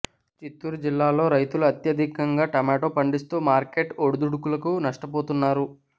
చిత్తూరు జిల్లాలో రైతులు అత్యధికంగా టొమేటో పండిస్తూ మార్కెట్ ఒడిదుడుకులతో నష్టపోతున్నారు